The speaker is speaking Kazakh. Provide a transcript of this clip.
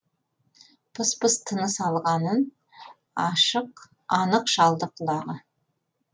пыс пыс тыныс алғанын анық шалды құлағы